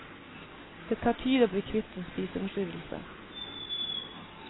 Det tar tid å bli kvitt en spiseforstyrrelse.